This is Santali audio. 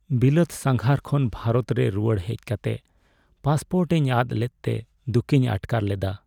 ᱵᱤᱞᱟᱹᱛ ᱥᱟᱸᱜᱷᱟᱨ ᱠᱷᱚᱱ ᱵᱷᱟᱨᱚᱛ ᱨᱮ ᱨᱩᱣᱟᱹᱲ ᱦᱮᱡ ᱠᱟᱛᱮ ᱯᱟᱥᱯᱳᱨᱴ ᱤᱧ ᱟᱫ ᱞᱮᱫᱛᱮ ᱫᱩᱠᱤᱧ ᱟᱴᱠᱟᱨ ᱞᱮᱫᱟ ᱾